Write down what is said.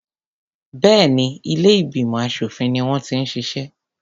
Béèni ilé ìgbìmọ̀ aṣòfin ni wọ́n ti ń ṣiṣẹ́.